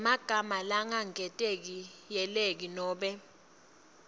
yemagama langaketayeleki nobe